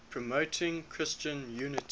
promoting christian unity